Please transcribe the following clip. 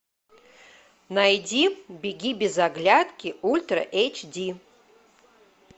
найди беги без оглядки ультра эйч ди